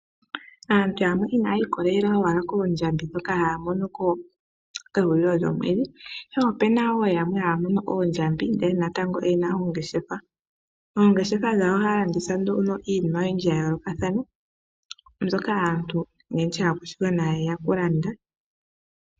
Aantu yamwe inaya ikolelela owala koondjambi dhoka haya mono kehulilo lyomwedhi. Ihe ope na wo yamwe haya mono oondjambi ndele natango oyena ongeshefa. Oongeshefa dhawo ohaya landitha nduno iinima oyindji ya yoolokathana mbyoka aantu oyendji aakwashigwana haye ya kulanda.